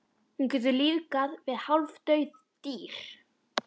Hún getur lífgað við hálfdauð dýr.